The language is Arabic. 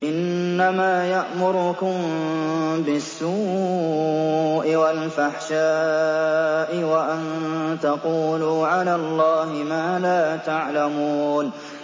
إِنَّمَا يَأْمُرُكُم بِالسُّوءِ وَالْفَحْشَاءِ وَأَن تَقُولُوا عَلَى اللَّهِ مَا لَا تَعْلَمُونَ